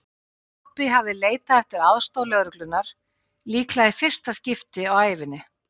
Pabbi hafði leitað eftir aðstoð lögreglunnar, líklega í fyrsta skipti á ævinni.